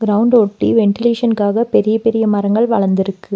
Ground ஒட்டி வென்டிலேஷன்க்காக பெரிய பெரிய மரங்கள் வளர்ந்துருக்கு.